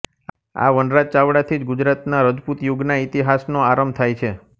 આ વનરાજ ચાવડાથી જ ગુજરાતના રજપૂતયુગના ઇતિહાસનો આરંભ થાય છે